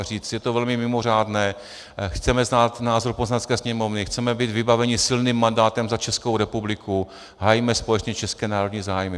A říct: je to velmi mimořádné, chceme znát názor Poslanecké sněmovny, chceme být vybaveni silným mandátem za Českou republiku, hájíme společně české národní zájmy.